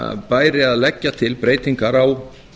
bæri til að leggja til breytingar á